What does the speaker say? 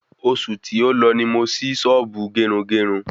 Osù tí o lọ ni mo sì Sọ́ọ́bù Gerungerun